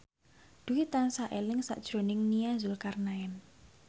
Dwi tansah eling sakjroning Nia Zulkarnaen